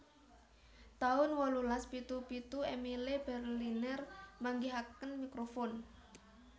taun wolulas pitu pitu Emile Berliner manggihaken mikrofon